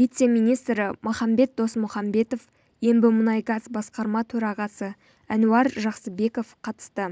вице-министрі махамбет досмұхамбетов ембімұнайгаз басқарма төрағасы әнуар жақсыбеков қатысты